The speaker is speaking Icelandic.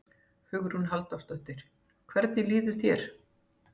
Hugrún Halldórsdóttir: Hvernig líður þér?